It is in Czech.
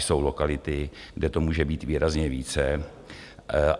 Jsou lokality, kde to může být výrazně více.